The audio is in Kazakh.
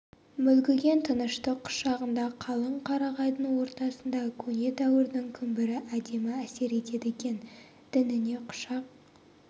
мүлгіген тыныштық құшағында қалың қарағайдың ортасында көне дәуірдің күмбірі әдемі әсер етеді екен діңіне құшақ